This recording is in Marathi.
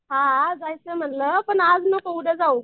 हां जायचं म्हणलं पण आज नको उद्या जाऊ.